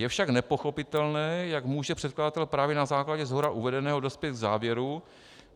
Je však nepochopitelné, jak může předkladatel právě na základě shora uvedeného dospět k závěru,